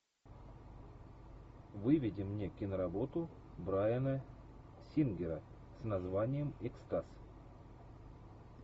выведи мне киноработу брайана сингера с названием экстаз